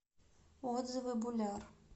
отзывы буляр